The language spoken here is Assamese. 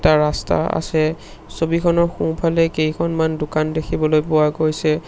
এটা ৰাস্তা আছে ছবিখনৰ সোঁফালে কেইখনমান দোকান দেখিবলৈ পোৱা গৈছে।